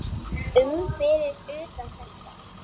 um fyrir utan þetta.